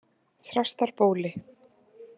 Þrastarbóli